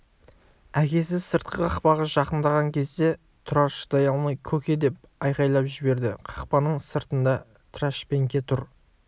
әкесі сыртқы қақпаға жақындаған кезде тұрар шыдай алмай көке деп айқайлап жіберді қақпаның сыртында трашпенке тұр